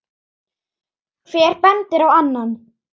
Hver bendir á annan.